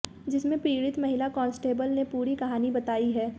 जिसमें पीड़ित महिला कांस्टेबल ने पूरी कहानी बताई है